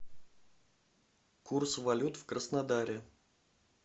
курс валют в краснодаре